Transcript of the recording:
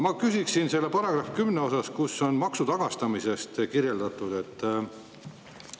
Ma küsiksin § 10 kohta, kus on maksutagastamisest.